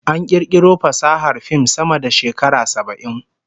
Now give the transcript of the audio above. An kirkiro fasahar fim sama da shekara saba'in